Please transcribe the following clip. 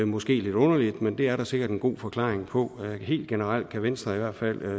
måske lidt underligt men det er der sikkert en god forklaring på helt generelt kan venstre i hvert fald